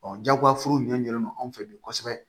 jagoyafuru ɲɛlen don anw fɛ yen kosɛbɛ